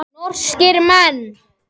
Norskir menn.